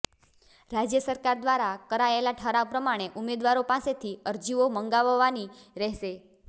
રાજ્ય સરકાર દ્વારા કરાયેલા ઠરાવ પ્રમાણે ઉમેદવારો પાસેથી અરજીઓ મંગાવવાની રહેશે